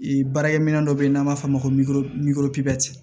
baarakɛminɛn dɔ be yen n'an b'a f'o ma